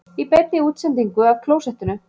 Í beinni útsendingu af klósettinu